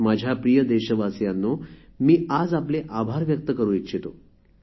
माझ्या प्रिय देशवासियांनो मी आज आपले आभार व्यक्त करू इच्छितो